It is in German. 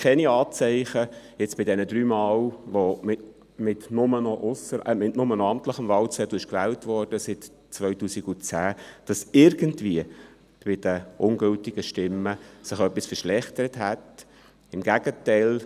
Im Zusammenhang mit den drei Malen, bei denen seit 2010 nur noch mit amtlichen Wahlzetteln gewählt wurde, gab es keine Anzeichen dafür, dass sich bei den ungültigen Stimmen etwas verschlechtert hätte; im Gegenteil.